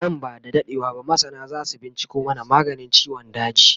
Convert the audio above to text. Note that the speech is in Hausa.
Nan ba da daɗewa ba masana zasu binciko mana maganin ciwon daji